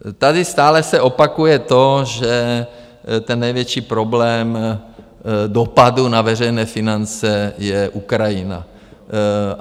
Tady stále se opakuje to, že ten největší problém dopadu na veřejné finance je Ukrajina.